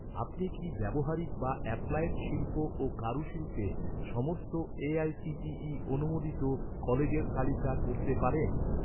আপনি কি ব্যবহারিক বা অ্যাপ্লায়েড শিল্প ও কারুশিল্পের সমস্ত এ.আই.সি.টি.ই অনুমোদিত কলেজের তালিকা করতে পারেন?